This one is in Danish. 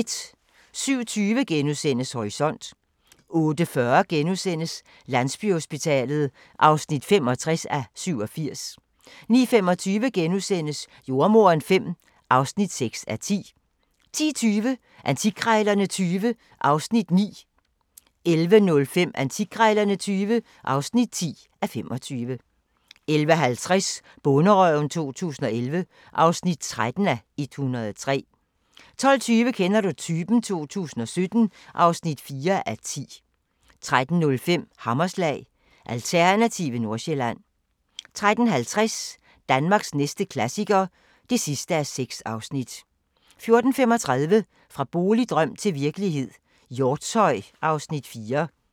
07:20: Horisont * 08:40: Landsbyhospitalet (65:87)* 09:25: Jordemoderen V (6:10)* 10:20: Antikkrejlerne XX (9:25) 11:05: Antikkrejlerne XX (10:25) 11:50: Bonderøven 2011 (13:103) 12:20: Kender du typen? 2017 (4:10) 13:05: Hammerslag – Alternative Nordsjælland 13:50: Danmarks næste klassiker (6:6) 14:35: Fra boligdrøm til virkelighed – Hjortshøj (Afs. 4)